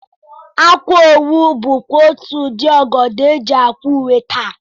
Akwaowu bụkwa otú ụdị ọgọdọ e ji ákwà uwe taa